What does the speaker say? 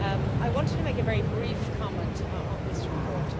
I wanted to make a very brief comment on this report.